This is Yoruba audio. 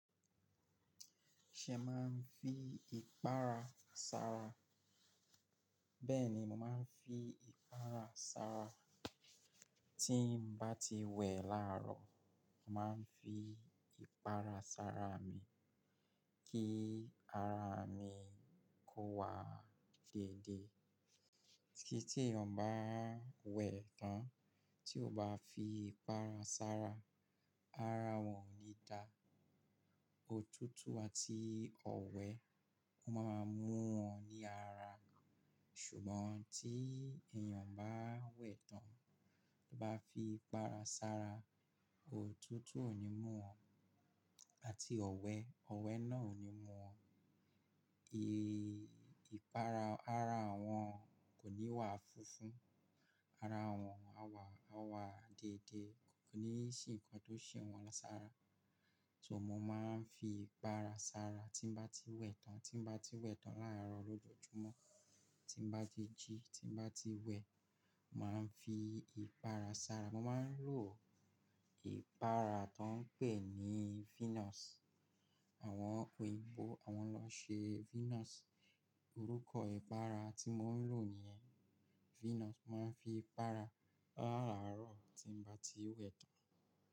Ṣé màá ń fi ìpara sára? Bẹ́ẹ̀ni, mo máa ń fi ìpara sára. Tí mo bá ti wẹ̀ láàárọ̀, mo máa ń fi ìpara sára mi kí ara mi kó wa déédée. Kí tí èèyàn bá wẹ̀ tán tí ò bá fi ìpara sára, ara wọn ò ní dá. Òtútù àti ọ̀wẹ́, wọ́n máa mú wọn ní ara. Ṣùgbọ́n tí èèyàn bá wẹ̀ tán, tí ò bá fi ìpara sára, òtútù ò ní mú wọn àti ọ̀wẹ́, ọ̀wẹ́ náà ò ní mú wọn. Ìpara ara wọn kò ní wa funfun, ara wọn á wa déédée, kò ní sí nǹkan tó ṣe wọn lására. So mo máa ń fi ìpara sára tí mo bá ti wẹ̀ tán, tí mo bá ti wẹ̀ tán láàárọ̀ lójoojúmọ́, tí mo bá ti jí, tí mo bá ti wẹ̀, mo máa ń fi ìpara sára. Mo máa ń lo ìpara tó ń pè ní Venus. Àwọn òyìnbó awọn lọn ṣe Venus, orúkọ ìpara ti mò ń lò niyẹn, Venus. Mo máa ń fi ìpara láàáárọ̀ tí mo bá ti wẹ̀ tán.